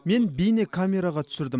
мен бейнекамераға түсірдім